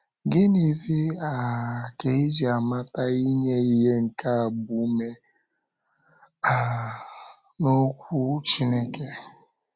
Gịnịzi um ka e ji amata inye ihe nke agbaume um n’okwu um Chineke?